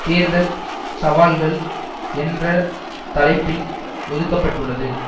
தேர்தல் சவால்கள் என்ற தலைப்பில் ஒதுக்க பட்டுள்ளது